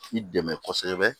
I dɛmɛ kosɛbɛ